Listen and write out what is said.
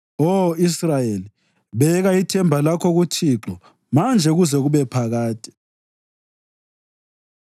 Oh, Israyeli, beka ithemba lakho kuThixo manje kuze kube phakade.